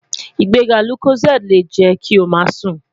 Igbega Locozade le jẹ ki o ṣọna